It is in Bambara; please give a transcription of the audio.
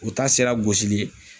U ta sera gosili ye